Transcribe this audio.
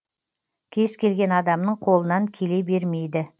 кез келген адамның қолынан келе бермейді